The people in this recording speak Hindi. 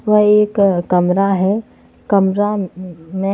वह एक अ कमरा है कमरा ममें--